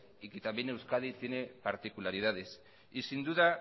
y que también euskadi tiene particularidades y sin duda